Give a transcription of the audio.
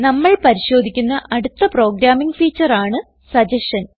നമ്മൾ പരിശോധിക്കുന്ന അടുത്ത പ്രോഗ്രാമിംഗ് ഫീച്ചർ ആണ് സഗസ്ഷൻ